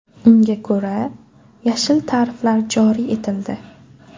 Unga ko‘ra, yashil tariflar joriy etildi.